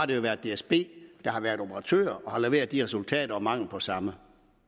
det har været dsb der har været operatør og har leveret de resultater eller mangel på samme